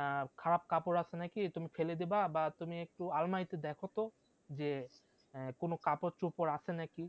আহ খারাপ কাপড় আছে নাকি তুমি ফেলে দেবে বা তুমি একটু আলমারিতে দেখো তো যে কোনো কাপড় চোপড় আছে নাকি